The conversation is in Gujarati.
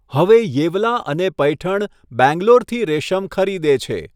હવે યેવલા અને પૈઠણ બેંગ્લોરથી રેશમ ખરીદે છે.